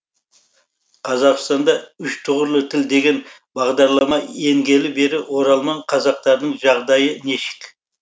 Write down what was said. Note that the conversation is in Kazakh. қазақстанда үш тұғырлы тіл деген бағдарлама енгелі бергі оралман қазақтардың жағдайы нешік